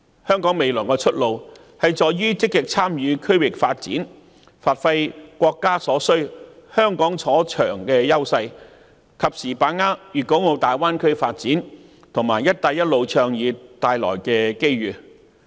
香港未來的出路在於積極參與區域發展，發揮國家所需、香港所長的優勢，及時把握粵港澳大灣區發展和"一帶一路"倡議帶來的機遇。